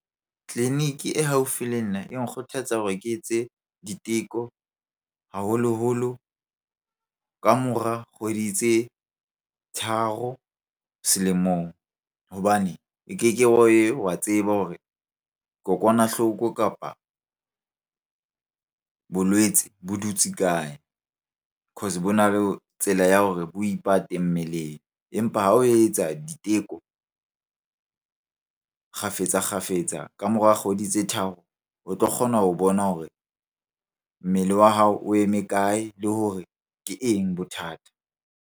Tleliniki e haufi le nna e nkgothaletsa hore ke etse diteko haholoholo ka mora kgwedi tse tharo selemong. Hobane e keke wa tseba hore kokwanahloko kapabolwetse bo dutse kae? Cause bo na le tsela ya hore bo ipate mmeleng. Empa ha o etsa diteko kgafetsa-kgafetsa ka mora kgwedi tse tharo, o tlo kgona ho bona hore mmele wa hao o eme kae? Le hore ke eng bothata?